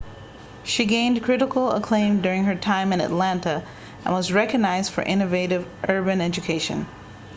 she gained critical acclaim during her time in atlanta and was recognized for innovative urban education